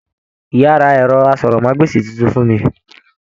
Ìyá rà ẹrọ àsọ̀rọ̀mágbèsi títún fún mí.